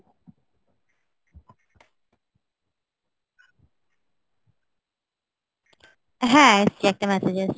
হ্যাঁ এসছে. একটা message এসছে।